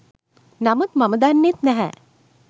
නමුත් මම දන්නෙත් නැහැ